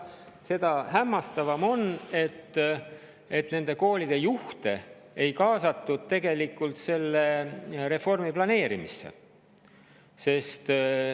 Seda hämmastavam on, et nende koolide juhte ei kaasatud selle reformi planeerimisse.